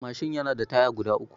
Mashin yana da taya guda biyu